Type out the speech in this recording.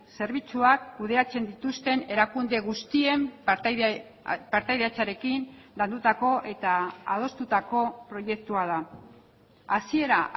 zerbitzuak kudeatzen dituzten erakunde guztien partaidetzarekin landutako eta adostutako proiektua da hasiera